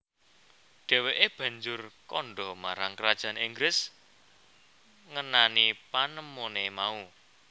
Dheweke banjur kanda marang Kerajaan Inggis ngenani panemone mau